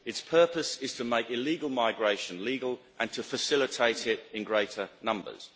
Its purpose is to make illegal migration legal and to facilitate it in greater numbers.